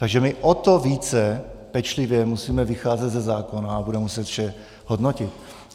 Takže my o to více pečlivě musíme vycházet ze zákona a budeme muset vše hodnotit.